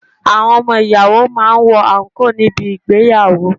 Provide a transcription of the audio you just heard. Àwọn ọmọ ìyàwó máa ń wọ àǹkóò ní bi ìgbéyàwó.